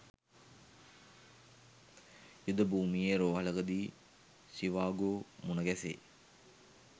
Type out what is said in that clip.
යුද භූමියේ රෝහලකදී ෂීවාගෝ මුණ ගැසේ